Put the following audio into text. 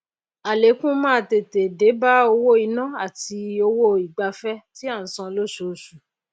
àlékún máá tètè déba owó iná àti owó ìgbafé tí à n san lósoosu